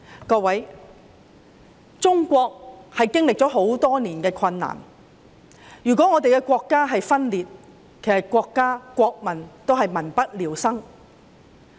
各位，中國經歷了很多年困難，如果我們的國家分裂，國家和國民也會民不聊生。